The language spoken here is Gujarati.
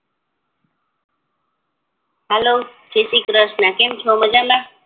હેલો જયશ્રી કૃષ્ણ કેમ છો મજામાં